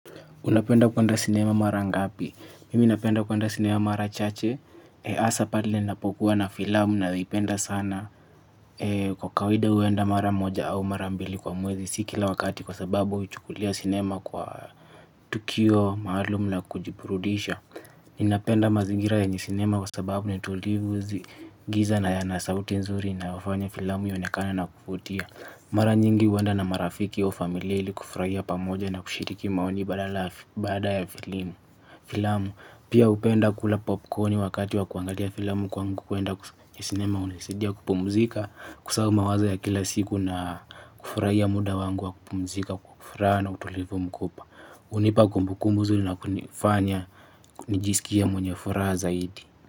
Unapenda kuenda sinema mara ngapi? Mimi napenda kuwanda sinema mara chache. Asa pale napokuwa na filamu nayo ipenda sana. Kwa kawida uenda mara moja au mara mbili kwa mwezi. Sikila wakati kwa sababu uchukulia sinema kwa tukio maalumla kujiburudisha. Ninapenda mazigira yenye sinema kwa sababu ni tulivu zi. Giza na ya nasauti nzuri na wafanya filamu ionekane na kuvutia. Mara nyingi huenda na marafiki au familia ili kufraia pamoja na kushiriki maoni baada ya filimu filamu pia upenda kula popcorn wakati wa kuangalia filamu kwangu kuenda ya sinema unisaidia kupumzika kusahauma wazo ya kila siku na kufurahia muda wangu wa kupumzika kwa furaha na utulivu mkubwa unipa kumbu kumbuzuri na kunifanya kunijisikie mwenye furaha zaidi.